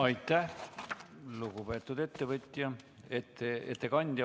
Aitäh, lugupeetud ettevõtja ... ettekandja!